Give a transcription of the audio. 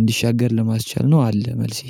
እንዲሻገር ለማስቻል ነው አለ መልሴ።